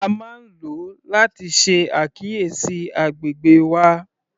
A máa ń lo láti ṣe àkíyèsí agbègbè wa.